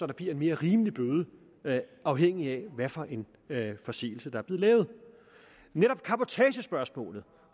det bliver en mere rimelig bøde afhængigt af hvad for en forseelse der er lavet netop cabotagespørgsmålet